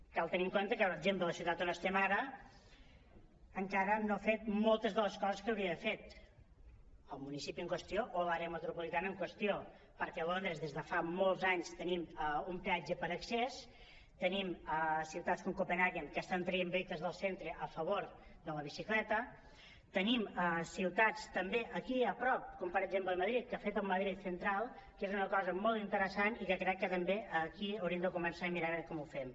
cal tenir en compte que per exemple la ciutat on estem ara encara no ha fet mol·tes de les coses que hauria d’haver fet el municipi en qüestió o l’àrea metropolitana en qüestió perquè a londres des de fa molts anys tenim un peatge per a accés te·nim ciutats com copenhagen que estan traient vehicles del centre a favor de la bici·cleta tenim ciutats també aquí a prop com per exemple madrid que ha fet el ma·drid central que és una cosa molt interessant i que crec que també aquí hauríem de començar a mirar a veure com ho fem